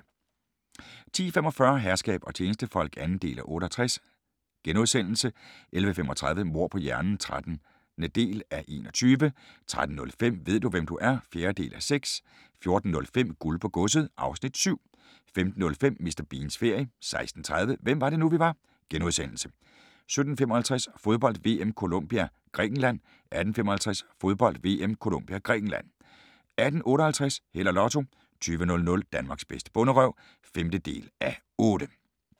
10:45: Herskab og tjenestefolk (2:68)* 11:35: Mord på hjernen (13:21) 13:05: Ved du, hvem du er? (4:6) 14:05: Guld på godset (Afs. 7) 15:05: Mr. Beans ferie 16:30: Hvem var det nu, vi var * 17:55: Fodbold: VM - Colombia-Grækenland 18:55: Fodbold: VM - Colombia – Grækenland 18:58: Held og Lotto 20:00: Danmarks bedste bonderøv (5:8)